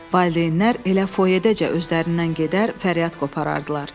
Valideynlər elə foyeədəcə özlərindən gedər, fəryad qoparardılar.